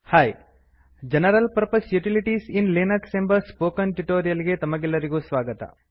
hi general purpose utilities in Linux ಎಂಬ spoken tutorial ಗೆ ತಮಗೆಲ್ಲರಿಗೂ ಸ್ವಾಗತ